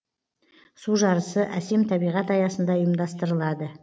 су жарысы әсем табиғат аясында ұйымдастырылады